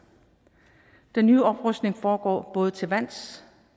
den nye oprustning foregår både til lands